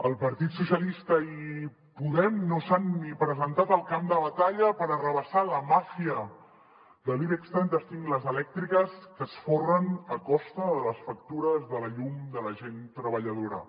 el partit socialistes i podem no s’han ni presentat al camp de batalla per arrabassar a la màfia de l’ibex trenta cinc les elèctriques que es folren a costa de les factures de la llum de la gent treballadora